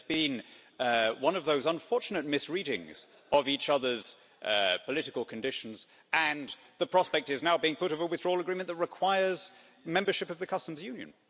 There's been one of those unfortunate misreadings of each other's political conditions and the prospect is now being put of a withdrawal agreement that requires membership of the Customs Union.